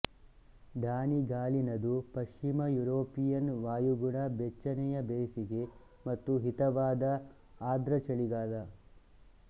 ಡಾನಿಗಾಲಿನದು ಪಶ್ಚಿಮ ಯೂರೋಪಿಯನ್ ವಾಯುಗುಣ ಬೆಚ್ಚನೆಯ ಬೇಸಗೆ ಮತ್ತು ಹಿತವಾದ ಆದ್ರ್ರ ಚಳಿಗಾಲ